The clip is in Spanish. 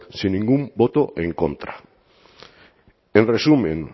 sin ningún voto en contra en resumen